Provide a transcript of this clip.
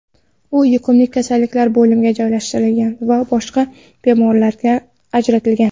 U yuqumlik kasalliklar bo‘limiga joylashtirilgan va boshqa bemorlardan ajratilgan.